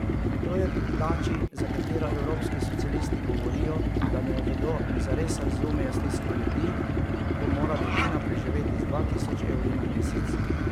To je pri plači, za katero evropski socialisti govorijo, da ne vedo in zares razumejo stisko ljudi, ko mora družina preživeti z dva tisoč evri na mesec.